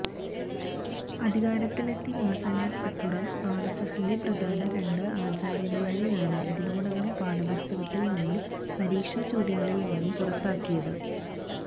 അധികാരത്തിലെത്തിയ മാസങ്ങൾക്കിപ്പുറം ആർഎസ്എസ്സിന്റെ പ്രധാന രണ്ട് ആചാര്യമാരെയാണ് ഇതിനോടകം പാഠപുസ്തകത്തിൽ നിന്നും പരീക്ഷ ചോദ്യങ്ങളിൽ നിന്നും പുറത്താക്കിയത്